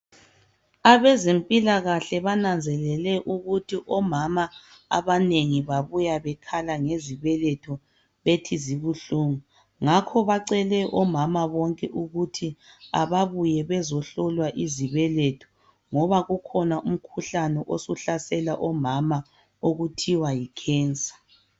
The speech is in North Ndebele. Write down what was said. Abezempilakahle bananzelele ukuthi omama abanengi babuya bekhala ngezibeletho bethi zibuhlungu. Ngakho bacele omama bonke ukuthi ababuye bezohlolwa izibeletho ngoba ukhona umkhuhlane ohlasela omama okuthiwa yikhensa.